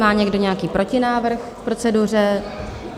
Má někdo nějaký protinávrh k proceduře?